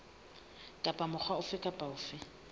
kapa mokga ofe kapa ofe